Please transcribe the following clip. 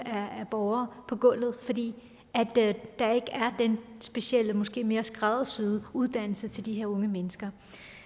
af borgere på gulvet fordi der ikke er den specielle måske mere skræddersyede uddannelse til de her unge mennesker